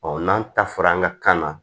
n'an ta fɔra an ka kan na